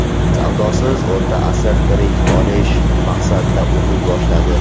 Savodsiz O‘rta asr tirik qolish maqsadida o‘qiy boshladi.